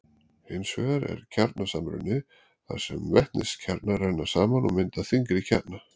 hins vegar er kjarnasamruni þar sem vetniskjarnar renna saman og mynda þyngri kjarna